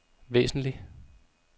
væsentlig